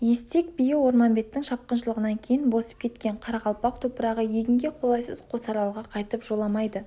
естек биі орманбеттің шапқыншылығынан кейін босып кеткен қарақалпақ топырағы егінге қолайсыз қосаралға қайтып жоламайды